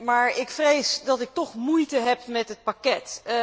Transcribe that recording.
Maar ik vrees dat ik toch moeite heb met het pakket.